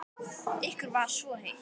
Ykkur var svo heitt.